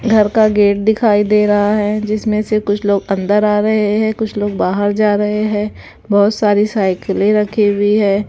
घर का गेट दिखाई दे रहा है जिसमें से कुछ लोग अन्दर आ रहे है कुछ लोग बाहर जा रहे है बहोत सारी साइकिलें रखी हुई है।